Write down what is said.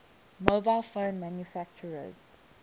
mobile phone manufacturers